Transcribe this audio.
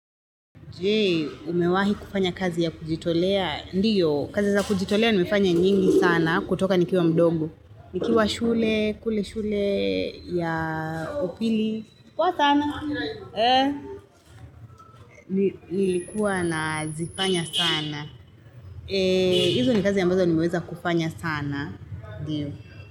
Je? Umewahi kufanya kazi ya kujitolea? Ndiyo, kazi za kujitolea nimefanya nyingi sana kutoka nikiwa mdogo, nikiwa shule, kule shule, ya upili, poa sanaa eeeh, Nilikuwa na zifanya sana eee hizo ni kazi ambazo nimeweza kufanya sana, eeeeeh.